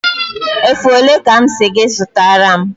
Efe ole ka m si gị zụtara m?